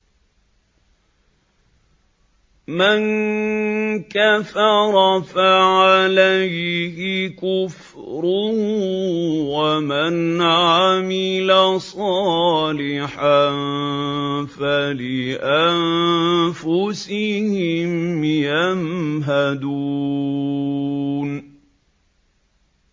مَن كَفَرَ فَعَلَيْهِ كُفْرُهُ ۖ وَمَنْ عَمِلَ صَالِحًا فَلِأَنفُسِهِمْ يَمْهَدُونَ